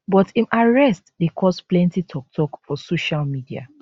but im arrest dey cause plenty tok tok for social media